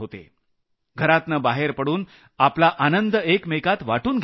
घरातनं बाहेर पडून आपला आनंद एकमेकांत वाटून घेत होते